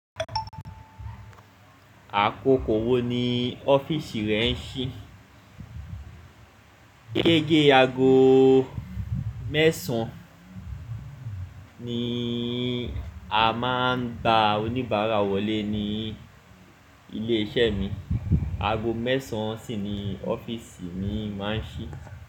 Àkókò wo ni ọ́fíìsì rẹ ń ṣí? Gégé aago mẹ́sàn-án ni a máa ń bá oníbàárà wọlé ní ilé-iṣẹ́ mi. Aago mẹ́sàn-án sì ni ọ́fíìsì mi máa ń ṣí.